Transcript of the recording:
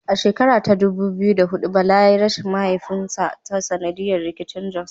A shekara ta dubu biyu da huɗu Bala yayi rashin mahaifinsa ta sanadiyar rikicin Jos.